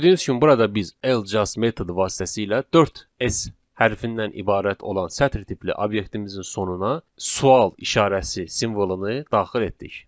Gördüyünüz kimi burada biz L Just metodu vasitəsilə 4 S hərfindən ibarət olan sətir tipli obyektimizin sonuna sual işarəsi simvolunu daxil etdik.